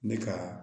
Ne ka